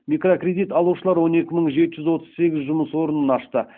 микрокредит алушылар он екі мың жеті жүз отыз сегіз жұмыс орнын ашты